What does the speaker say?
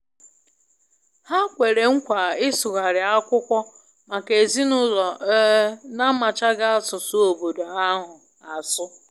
Ha kwere nkwa ịsụgharị akwụkwọ maka ezinụlọ um n'amachaghị asụsụ obodo ahụ asu.